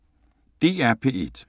DR P1